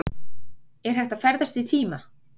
Er hægt að ferðast í tíma?